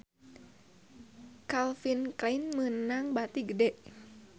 Calvin Klein meunang bati gede